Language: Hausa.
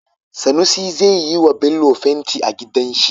Sunusi zai yiwa Bello fenti a gidan shi